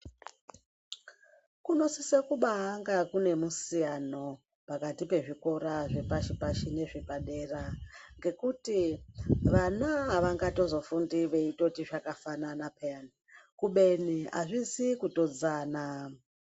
Kunosise kubaanga kune musiyano pakati pezvikora zvepashi pashi nezvepadera ngekuti vana avangazotofundi veindoti zvakafanana peya kubeni azvizi kutodzana.